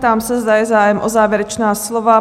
Ptám se, zda je zájem o závěrečná slova?